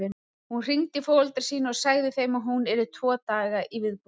Hún hringdi í foreldra sína og sagði þeim að hún yrði tvo daga í viðbót.